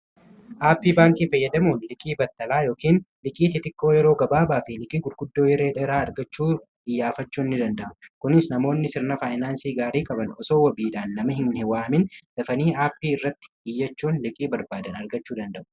aappii baankii fayyadamuun liqii battalaa yookiin liqiitii tikkoo yeroo gabaabaa fi liqii gudguddoo yereedheraa argachuu diyyaafachuun ni danda'u kunis namoonni sirna faayinaansii gaarii qaban osoo wabiidhaan nama hinhwaamin dafanii aappii irratti iyyachuun liqii barbaadan argachuu danda'u